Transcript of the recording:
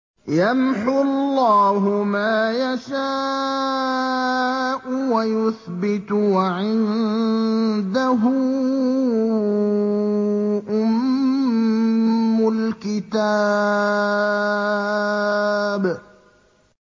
يَمْحُو اللَّهُ مَا يَشَاءُ وَيُثْبِتُ ۖ وَعِندَهُ أُمُّ الْكِتَابِ